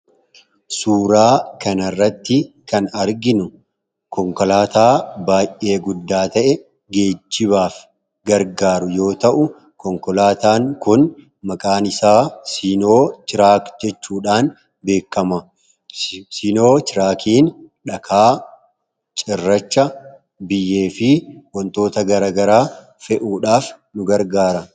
Suuraa kanarratti kan arginu konkolaataa baay'ee guddaa ta'e, geejibaaf gargaaru yoo ta'u konkolaataan kun maqaan isaa siinoo tiraak jechuudhaan beekama sinoo tiraakiin dhakaa cirracha biyyee fi wantoota garagara fe'uudhaaf nu gargaara.